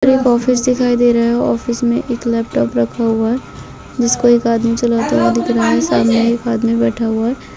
एक ऑफिस दिखाई दे रहा है ऑफिस में एक लैपटॉप रखा हुआ है जिसको एक आदमी चलाता हुआ दिख रहा है सामने एक आदमी बैठा हुआ है।